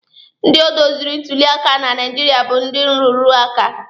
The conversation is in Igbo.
Ndị doziri ntuli aka na Naijiria bụ ndị nrụrụ aka.